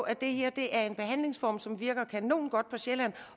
at det her er en behandlingsform som virker kanongodt på sjælland